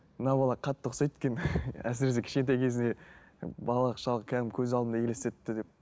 мына бала қатты ұқсайды екен әсіресе кішкентай кезінде балалық шағы кәдімгідей көз алдыма елестетті деп